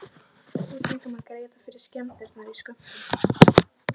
Við fengum að greiða fyrir skemmdirnar í skömmtum.